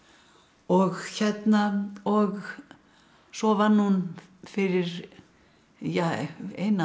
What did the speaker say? og og svo vann hún fyrir ja eina